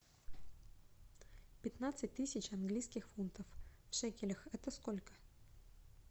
пятнадцать тысяч английских фунтов в шекелях это сколько